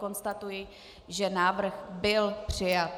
Konstatuji, že návrh byl přijat.